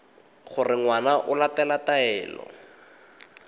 gore ngwana o latela taelo